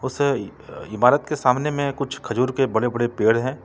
उस इमारत के सामने में कुछ खजूर के बड़े बड़े पेड़ हैं।